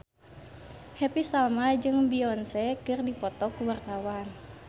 Happy Salma jeung Beyonce keur dipoto ku wartawan